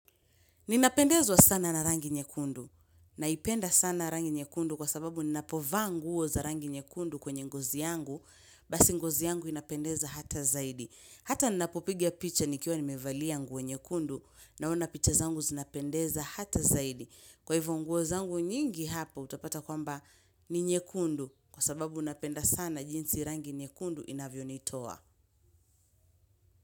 Ninapendezwa sana na rangi nyekundu naipenda sana rangi nyekundu kwa sababu ninapovaa nguo za rangi nyekundu kwenye ngozi yangu basi ngozi yangu inapendeza hata zaidi. Hata ninapopiga picha nikiwa nimevalia nguo nyekundu naona picha zangu zinapendeza hata zaidi. Kwa hivyo ngouo zangu nyingi hapa utapata kwamba ni nyekundu kwa sababu napenda sana jinsi rangi nyekundu inavyo nitoa.